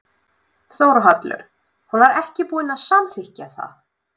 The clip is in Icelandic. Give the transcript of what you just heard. Þórhallur: Hún var ekki búin að samþykkja það?